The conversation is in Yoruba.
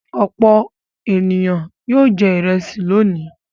Òpó èniyàn yóò jẹ ìrẹsì lónìí.